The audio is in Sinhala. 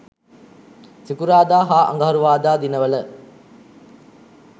සිකුරාදා හා අඟහරුවාදා දිනවල